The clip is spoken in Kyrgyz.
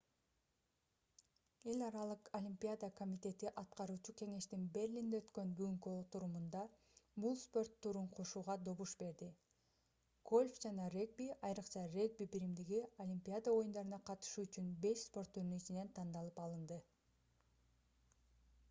эл аралык олимпиада комитети аткаруучу кеңештин берлинде өткөн бүгүнкү отурумунда бул спорт түрүн кошууга добуш берди гольф жана регби айрыкча регби биримдиги олимпиада оюндарына катышуу үчүн беш спорт түрүнүн ичинен тандалып алынды